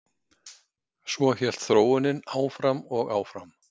Svo hélt þróunin áfram og áfram.